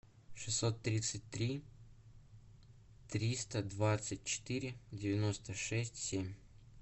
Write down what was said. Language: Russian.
шестьсот тридцать три триста двадцать четыре девяносто шесть семь